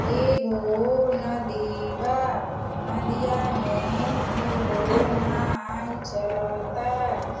एगो नदी बा। नदिया में एगो नाय चल ता।